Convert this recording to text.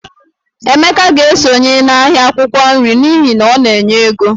Emeka ga-esonye n'ahịa akwụkwọ nri n'ihi na ọ na-enye ego